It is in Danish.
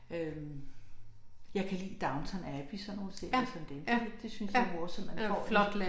Øh jeg kan lide Downtown Abbey sådan nogle serier som dem det det synes jeg er morsomt man får en